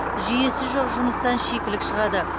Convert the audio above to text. жүйесі жоқ жұмыстан шикілік шығады